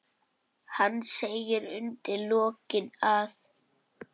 Hann segir undir lokin að